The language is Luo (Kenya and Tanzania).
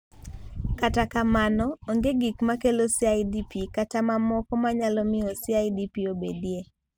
Kata kamano, onge gik makelo CIDP kata gik mamoko manyalo miyo CIDP obedie.